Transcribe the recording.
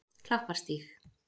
Klapparstíg